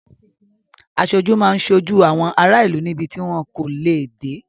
Aṣojú máa ń ṣojú àwọn ará ìlú níbi tí wọn kò lè dé.